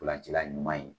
Ntolancila ɲuman ye